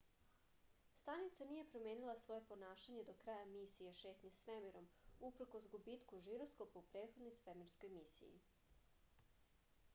stanica nije promenila svoje ponašanje do kraja misije šetnje svemirom uprkos gubitku žiroskopa u prethodnoj svemirskoj misiji